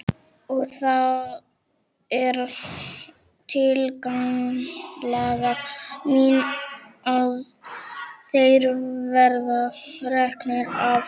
Og það er tillaga mín að þeir verði teknir af.